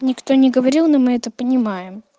никто не говорил но мы это понимаем